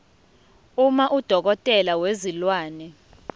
uma udokotela wezilwane